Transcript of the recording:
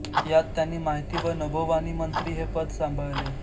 यात त्यांनी माहिती व नभोवाणीमंत्री हे पद सांभाळले